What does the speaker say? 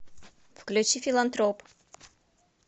включи филантроп